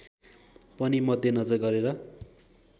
पनि मध्यनजर गरेर